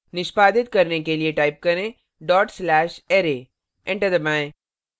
निष्पादित करने के लिए type करें dot slash array enter दबाएं